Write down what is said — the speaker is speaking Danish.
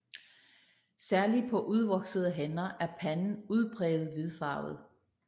Særlig på udvoksede hanner er panden udpræget hvidfarvet